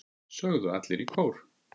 sögðu allir í kór.